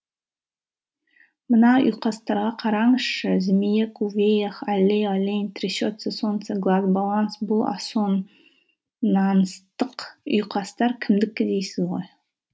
мына ұйқастарға қараңызшы змеек увеях аллей олень трясется солнце глаз баланс бұл ассонанстық ұйқастар кімдікі дейсіз ғой